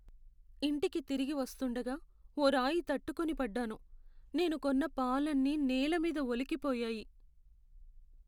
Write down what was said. ఇంటికి తిరిగి వస్తుండగా, ఓ రాయి తట్టుకొని పడ్డాను, నేను కొన్న పాలన్నీ నేల మీద ఒలికిపోయాయి.